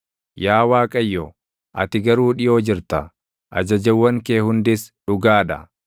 Yaa Waaqayyo, ati garuu dhiʼoo jirta; ajajawwan kee hundis dhugaa dha.